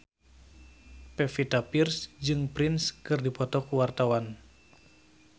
Pevita Pearce jeung Prince keur dipoto ku wartawan